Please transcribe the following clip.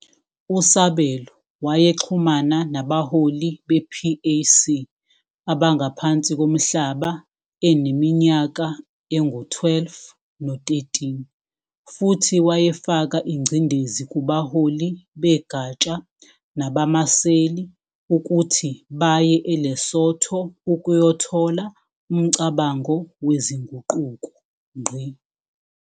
USabelo wayexhumana nabaholi be-PAC abangaphansi komhlaba eneminyaka engu-12 no-13, futhi wayefaka ingcindezi kubaholi begatsha nabamaseli ukuthi baye eLesotho ukuyothola umcabango wezinguquko.